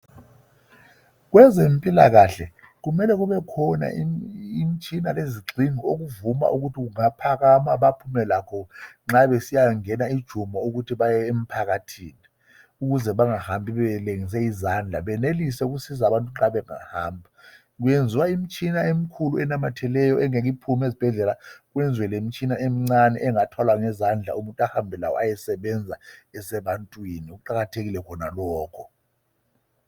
Kwezempilakahle kumele kubekhona imtshina lezigxingi okuvuma ukuthi kungaphakama baphume lakho nxa besiyangena ejumo ukuthi baye emphakathini bengahambi belengise izandla benelise ukusiza abantu nxa bengahamba kweziwa imitshina emikhulu enamatheleyo engeke iphume esibhedlela kwenziwe lemtshina emcane engathwalwa ngezandla umuntu ahambe layo ayesebenza esebantwini kuqakathekile khonokho